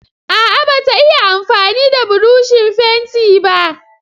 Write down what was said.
A'a bata iya amfani da burushin fenti ba.